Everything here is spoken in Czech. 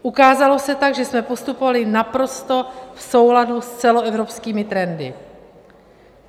Ukázalo se tak, že jsme postupovali naprosto v souladu s celoevropskými trendy.